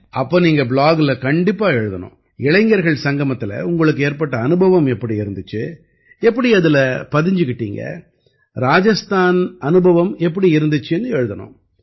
அப்ப நீங்க ப்ளாக்ல கண்டிப்பா எழுதணும் இளைஞர்கள் சங்கமத்தில உங்களுக்கு ஏற்பட்ட அனுபவம் எப்படி இருந்திச்சு எப்படி அதில பதிஞ்சுக்கிட்டீங்க ராஜஸ்தான அனுபவம் எப்படி இருந்திச்சுன்னு எழுதணும்